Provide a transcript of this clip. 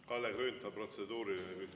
Kalle Grünthal, protseduuriline küsimus.